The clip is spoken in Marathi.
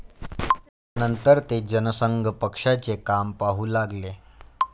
नंतर ते जनसंघ पक्षाचे काम पाहू लागले.